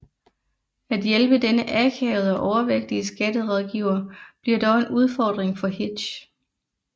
At hjælpe denne akavede og overvægtige skatterådgiver bliver dog en udfordring for Hitch